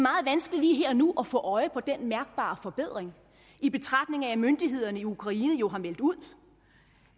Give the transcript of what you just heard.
vanskeligt lige her og nu at få øje på den mærkbare forbedring i betragtning af at myndighederne i ukraine jo har meldt ud